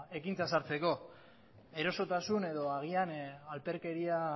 ekintza ez hartzeko erosotasun edo agian alferkeria